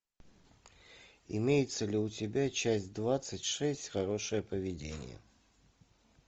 имеется ли у тебя часть двадцать шесть хорошее поведение